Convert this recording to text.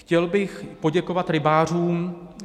Chtěl bych poděkovat rybářům.